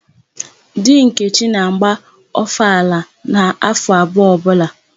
Di Nkechi na-agba ọfala n'áfọ̀ abụọ ọbụla.